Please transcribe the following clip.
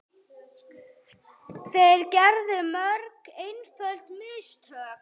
Þeir gerðu mörg einföld mistök.